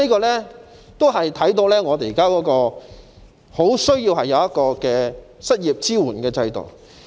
由此可見，我們十分需要一個失業支援制度。